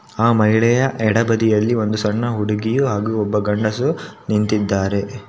ಆ ಮಹಿಳೆಯ ಎಡಬದಿ ಯಲ್ಲಿ ಒಂದು ಸಣ್ಣ ಹುಡುಗಿಯು ಹಾಗೂ ಒಬ್ಬ ಗಂಡಸು ನಿಂತಿದ್ದಾರೆ.